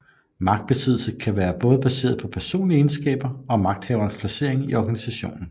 Magtbesiddelsen kan både være baseret på personlige egenskaber og magthaverens placering i organisationen